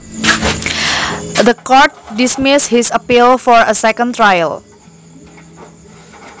The court dismissed his appeal for a second trial